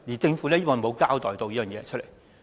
政府沒有交代這一點。